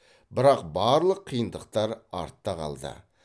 бірақ барлық қиындықтар артта қалды